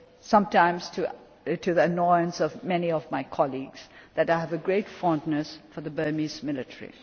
said sometimes to the annoyance of many of my colleagues that I have a great fondness for the Burmese military.